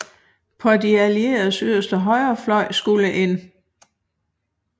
På de Allieredes yderste højrefløj skulle 1